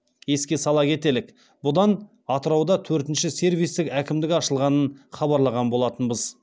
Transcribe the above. еске сала кетелік бұдан атырауда төртінші сервистік әкімдік ашылғанын хабарлаған болатынбыз